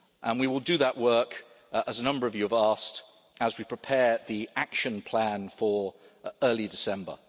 We will do that work, as a number of you have asked, as we prepare the action plan for early December.